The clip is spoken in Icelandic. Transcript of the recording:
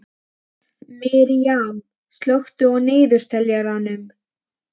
Miriam, slökktu á niðurteljaranum.